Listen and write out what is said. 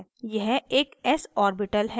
यह एक s orbital है